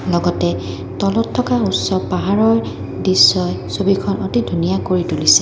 লগতে তলত থকা উচ্চ পাহাৰৰ দৃশ্যই ছবিখনতে ধুনীয়া কৰি তুলিছে।